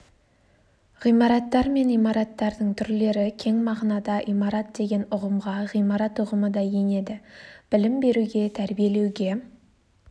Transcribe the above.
ғимараттар мен имараттардың түрлері кең мағынада имарат деген ұғымға ғимарат ұғымы да енеді білім беруге тәрбиелеуге